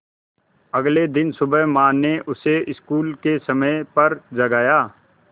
अगले दिन सुबह माँ ने उसे स्कूल के समय पर जगाया